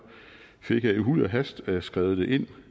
fik jeg i huj og hast skrevet det ind